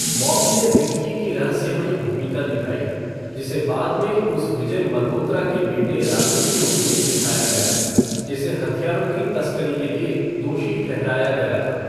बॉबी ने विक्की की रहस्यमयी भूमिका निभाई, जिसे बाद में उस विजय मल्होत्रा के बेटे राजू के रूप में दिखाया गया, जिसे हथियारों की तस्करी के लिए दोषी ठहराया गया था।